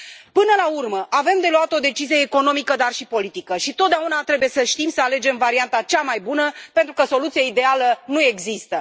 Până la urmă, avem de luat o decizie economică, dar și politică și totdeauna trebuie să știm să alegem varianta cea mai bună, pentru că soluția ideală nu există.